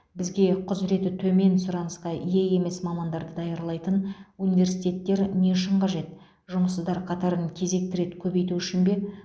бізге құзыреті төмен сұранысқа ие емес мамандарды даярлайтын университеттер не үшін қажет жұмыссыздар қатарын кезекті рет көбейту үшін бе